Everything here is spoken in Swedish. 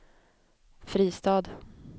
Fristad